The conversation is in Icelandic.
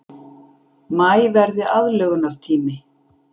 Maí verði aðlögunartími